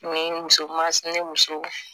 Ni muso mansinɛ muso